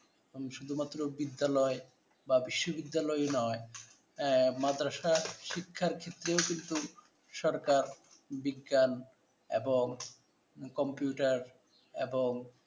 শুধুমাত্র বিদ্যালয় বা বিশ্ববিদ্যালয় নয়, মাদরাসা শিক্ষার ক্ষেত্রেও কিন্তু সরকার বিজ্ঞান এবং কম্পিউটার এবং